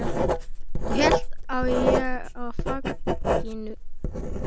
Og ég hélt á þér í fanginu.